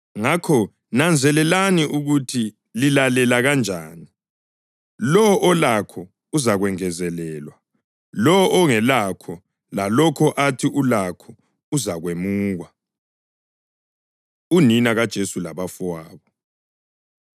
Ngakho nanzelelani ukuthi lilalela kanjani. Lowo olakho uzakwengezelelwa; lowo ongelakho lalokho athi ulakho uzakwemukwa.” Unina KaJesu Labafowabo